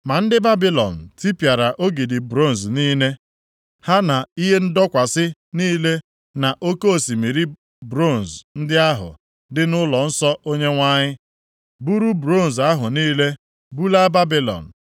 Ma ndị Babilọn tipịara ogidi bronz niile, ha na ihe ndọkwasị niile na Oke osimiri bronz ndị ahụ dị nʼụlọnsọ Onyenwe anyị, buru bronz ahụ niile bulaa Babilọn.